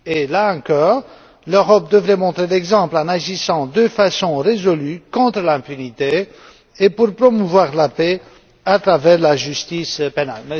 Là encore, l'Europe devrait montrer l'exemple en agissant de façon résolue contre l'impunité et pour promouvoir la paix à travers la justice pénale.